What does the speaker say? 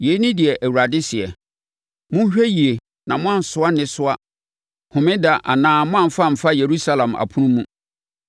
Yei ne deɛ Awurade seɛ: Monhwɛ yie na moansoa nnesoa Homeda anaa moamfa amfa Yerusalem apono mu.